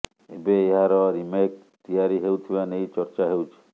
ଏବେ ଏହାର ରିମେକ୍ ତିଆରି ହେଉଥିବା ନେଇ ଚର୍ଚ୍ଚା ହେଉଛି